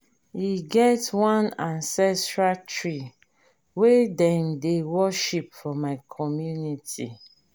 e get one ancestral tree wey dem dey worship for my community.